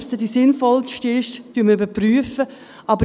Ob es dann die sinnvollste ist, überprüfen wir.